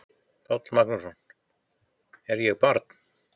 Páll Magnússon: Er ég barn?